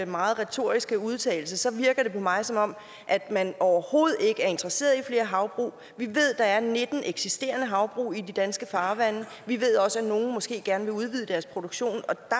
meget retoriske udtalelse virker det på mig som om man overhovedet ikke er interesseret i flere havbrug vi ved der er nitten eksisterende havbrug i de danske farvande og vi ved også at nogle måske gerne vil udvide deres produktion